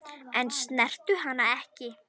En snertu hana ekki.